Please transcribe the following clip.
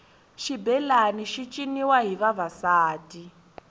xibelani xi ciniwa hi vavasati